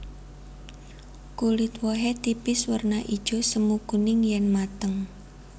Kulit wohé tipis werna ijo semu kuning yèn mateng